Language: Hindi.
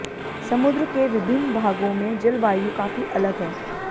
समुद्र के विभिन्न भागों में जलवायु काफी अलग है